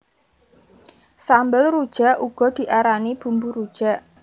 Sambel rujak uga diarani bumbu rujak